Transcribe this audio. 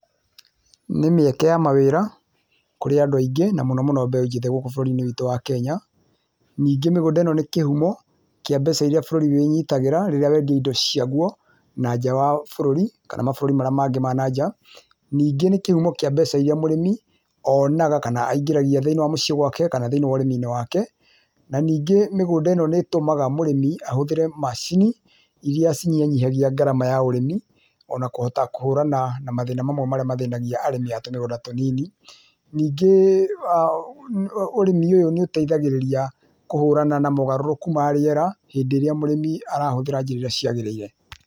Nĩ mĩeke ya mawĩra kũrĩ andũ aingĩ na mũno mũno mbeũ njĩthĩ gũkũ bũrũrĩ-inĩ witũ wa Kenya. Ningĩ mĩgunda ĩno nĩ kĩhumo kĩa mbeca irĩa bũrũri wĩnyitagĩra rĩrĩa wendia indo ciagwo na nja wa bũrũri kana mabũrũri marĩa mangĩ ma na nja. Ningĩ nĩ kĩhumo kĩa mbeca iria mũrĩmi onaga kana aingĩragia thĩiniĩ wa muciĩ gwake kana thĩiniĩ wa ũrĩmi-inĩ wake. Na ningĩ mĩgũnda ĩno nĩ ĩtũmaga mũrĩmi ahũthĩre macini irĩa cinyihanyihagia ngarama ya ũrĩmi o na kũhota kũhũrana na mathĩna mamwe marĩa mathĩnagia arĩmi a tũmĩgũnda tũnini. Ningĩ ũrĩmi ũyũ niũtethagĩrĩria kũhũrana na mogarũrũku ma rĩera hĩndĩ ĩrĩa mũrĩmi arahũthĩra njĩra iria ciagĩrĩire.